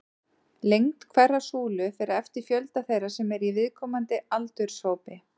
Lengd hverrar súlu fer eftir fjölda þeirra sem eru í viðkomandi aldurshópi.